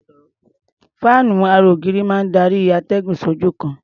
Fáànú ara-ògiri máa ń darí atẹ́gùn sí ojú kan.